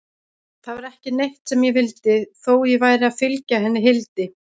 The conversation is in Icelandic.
Það var ekki neitt sem ég vildi, þó ég væri að fylgja henni Hildi.